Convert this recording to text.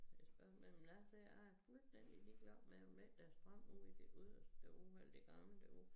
Men spørgsmålet er men jeg siger jeg er fuldstændig ligeglad med om ikke der er strøm ude i det yderste ude i det gamle derude